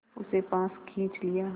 उसे पास खींच लिया